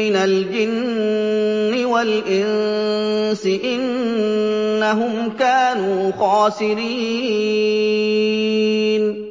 مِّنَ الْجِنِّ وَالْإِنسِ ۖ إِنَّهُمْ كَانُوا خَاسِرِينَ